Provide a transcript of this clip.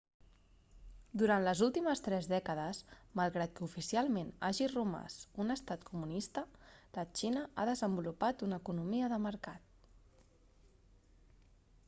durant les últimes tres dècades malgrat que oficialment hagi romàs un estat comunista la xina ha desenvolupat una economia de mercat